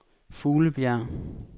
Fuglebjerg